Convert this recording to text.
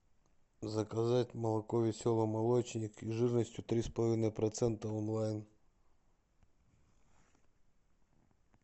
заказать молоко веселый молочник жирностью три с половиной процента онлайн